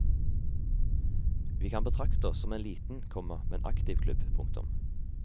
Vi kan betrakte oss som en liten, komma men aktiv klubb. punktum